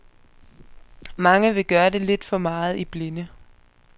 Mange vil gøre det lidt for meget i blinde.